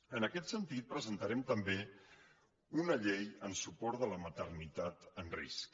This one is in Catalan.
en aquest sentit presentarem també una llei en suport de la maternitat en risc